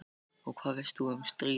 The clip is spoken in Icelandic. Og hvað veist þú um stríð?